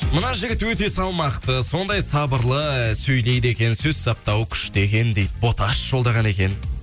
мына жігіт өте салмақты сондай сабырлы сөйлейді екен сөз саптауы күшті екен дейді боташ жолдаған екен